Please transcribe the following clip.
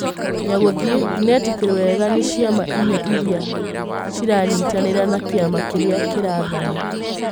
Nyagũthiĩ, ndĩnetĩkĩrwo wega nĩcĩama inya ĩrĩa ciranyĩtanĩra na kĩama kĩrĩa kĩrathana.